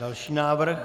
Další návrh?